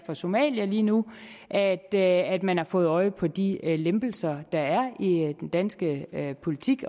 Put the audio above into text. fra somalia lige nu at at man har fået øje på de lempelser der er i den danske politik